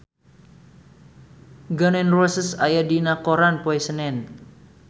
Gun N Roses aya dina koran poe Senen